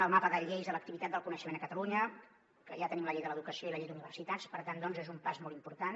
el mapa de lleis de l’activitat del coneixement a catalunya que ja tenim la llei de l’educació i la llei d’universitats per tant és un pas molt important